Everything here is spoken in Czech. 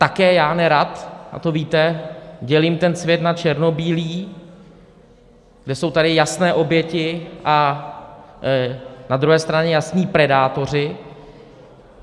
Také já nerad, a to víte, dělím ten svět na černobílý, kde jsou tady jasné oběti a na druhé straně jasní predátoři.